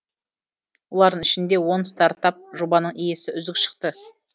олардың ішінде он стартап жобаның иесі үздік шықты